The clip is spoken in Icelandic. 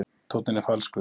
Tónninn er falskur.